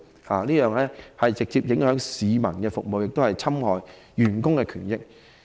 這樣會直接影響對市民的服務，亦侵害員工的權益。